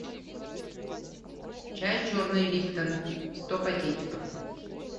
чай черный липтон сто пакетиков